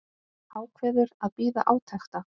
Ákveður að bíða átekta.